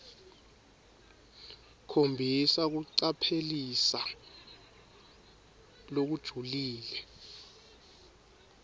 khombisa kucaphelisisa lokujulile